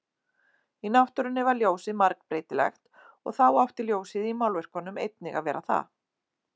Í náttúrunni var ljósið margbreytilegt og þá átti ljósið í málverkunum einnig að vera það.